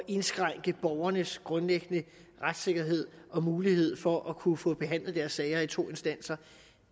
indskrænke borgernes grundlæggende retssikkerhed og mulighed for at kunne få behandlet deres sager i to instanser